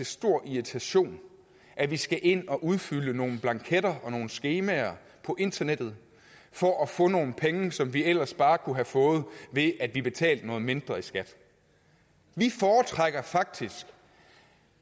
stor irritation at vi skal ind og udfylde nogle blanketter og skemaer på internettet for at få nogle penge som vi ellers bare kunne have fået ved at vi betalte noget mindre i skat vi foretrækker faktisk